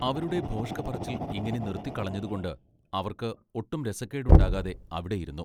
അവരുടെ ഭോഷ്ക പറച്ചിൽ ഇങ്ങനെ നിറുത്തികളഞ്ഞതുകൊണ്ട് അവർക്ക് ഒട്ടും രസക്കേടുണ്ടാകാതെ അവിടെ ഇരുന്നു.